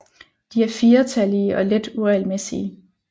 De er firetallige og let uregelmæssige